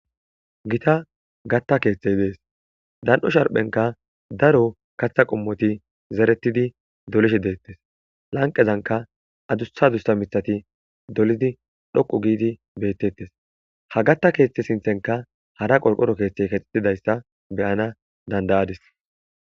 Gita gatta keeththey dees dan'o sharphenka daro katha qommoti zeretidi dolishe deettes lanqezanka adushadussa mitati dolidi dhoqu giidi beettettes ha gatta keeththe sinthenka hara qorqoro keeththey kexetidayssa beyana dandayadis.